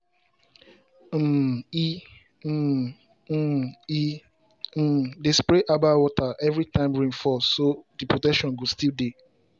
um e um um e um dey spray herbal water every time rain fall so the protection go still dey.